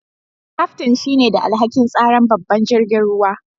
Kaftin shine da alhaki'n tsaran babban jirigin ruwan.